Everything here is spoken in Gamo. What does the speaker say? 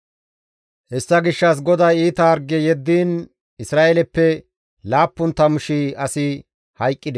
Hessa gishshas GODAY iita harge yeddiin Isra7eeleppe 70,000 asi hayqqides.